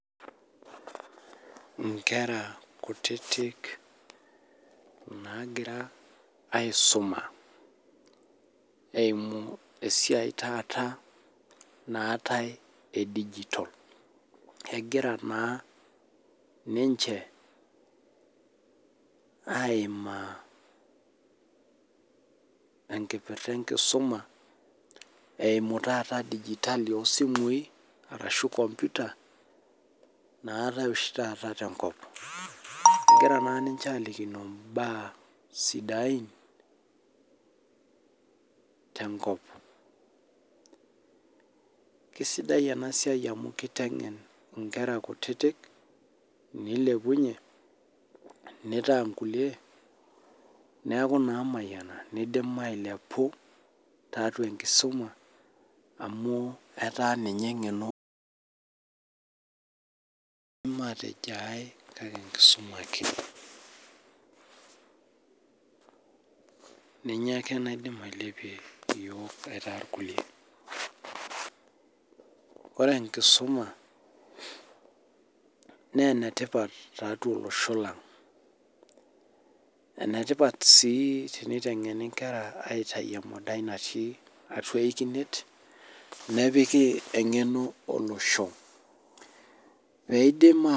Nkera kutitik nagira aisuma eiku esiai taata naatae e digital egira na ninche aimaa enkioirta enkisuma eimu taata e digital osimui ashu komputa nawtae oshibtaata tenkop egira alikino mbaa sidain tenkop kesidai enasiai wmu kitengen nkera kutitik nilepunye nitaa nkulie neaku namayiani nilepu tiatua enkisuma amu etaa ninche engeno matejo aai kake enkisuma ake nincmye ake naidim ailepie yiok aitaa irkulie ore enkisuma ne enetipat tiwtua olosho lang enetipat si enkitengeni nkeraj aitau emadai natii atua ikinet nepiki engeno olosho nidim ataa.